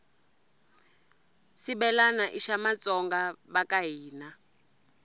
shibhelana ishamatsonga vakahhina